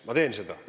Ma teeksin seda.